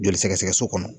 Joli sɛgɛsɛgɛ so kɔnɔ